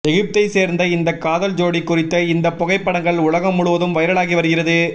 எகிப்தை சேர்ந்த இந்த காதல் ஜோடி குறித்த இந்த புகைப்படங்கள் உலகம் முழுவதும் வைரலாகி வருகிறது